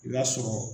I b'a sɔrɔ